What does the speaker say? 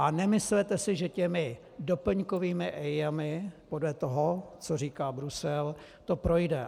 A nemyslete si, že těmi doplňkovými EIA podle toho, co říká Brusel, to projde.